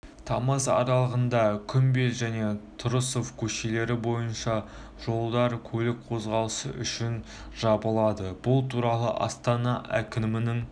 тамыз аралығында күмбел және тұрысов көшелері бойынша жолдар көлік қозғалысы үшін жабылады бұл туралы астана әкімдігінің